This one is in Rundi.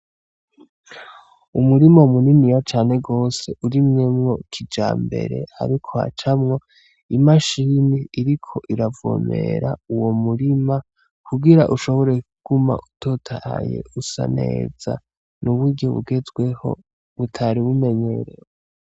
Umurima muniniya cane gwose urimyemwo kijambere ariko hacamwo imashini iriko iravomera uwomurima kugira ushobore kuguma utotahaye usaneza, n'uburyo bugezweho butari bumenyerewe.